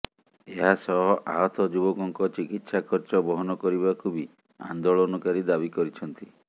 ଏହାସହ ଆହତ ଯୁବକଙ୍କ ଚିକିତ୍ସା ଖର୍ଚ୍ଚ ବହନ କରିବାକୁ ବି ଆନ୍ଦୋଳନକାରୀ ଦାବି କରିଛନ୍ତି